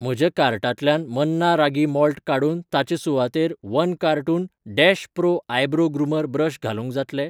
म्हज्या कार्टांतल्यान मन्ना रागी माल्ट काडून ताचे सुवातेर one cartoon dash pro eyebrow groomer brush घालूंक जातलें?